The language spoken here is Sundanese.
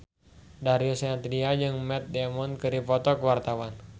Darius Sinathrya jeung Matt Damon keur dipoto ku wartawan